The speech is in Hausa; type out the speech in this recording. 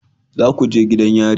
Za ku je gidan yari